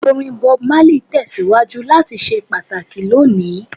Orin Bob Marley tẹsiwaju lati ṣe pataki loni.